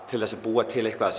til að búa til eitthvað